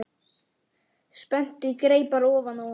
Spennti greipar ofan á honum.